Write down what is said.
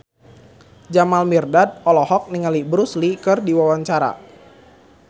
Jamal Mirdad olohok ningali Bruce Lee keur diwawancara